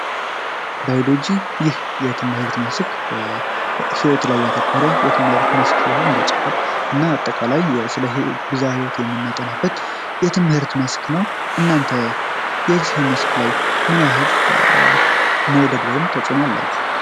ባዮሎጂ የትምህርት መስክ ይህ የትምህርት መስክ ህይወት ላይ ያተኮረ የትምህርት መስክ ሲሆን ስነጥበብ እና አጠቃላይ ስለ ብዝሀ ህይወት የሚያጠና የትምህርት ዘርፍ ነው። እናንተ የ